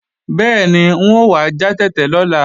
Bẹ́ẹ̀ni, n ò wá já tètè lọ́la